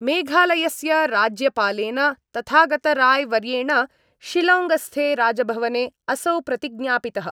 मेघालयस्य राज्यपालेन तथागतराय्वर्येण शिलौङ्गस्थे राजभवने असौ प्रतिज्ञापितः।